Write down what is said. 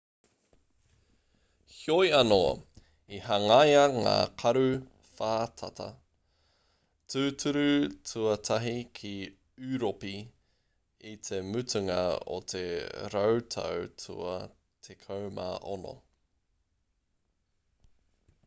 heoi anō i hangaia ngā karu whātata tūturu tuatahi ki ūropi i te mutunga o te rautau tua 16